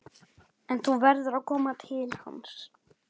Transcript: En þú verður að koma til hans.